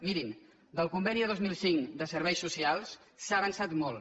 mirin del conveni de dos mil cinc de serveis socials s’ha avançat molt